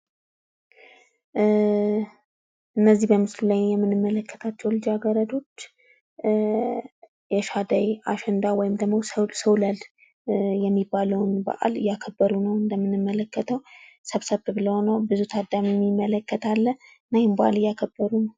እነዚህ በምስሉ ላይ የምንመለከታቸው ልጃገረዶች የአሸንዳ ወይም ሰውለል የተባለውን በአል ሰብሰብ ብለው እያከበሩ ይታያሉ። ብዙ ታዳሚ የሚመለከት አለ።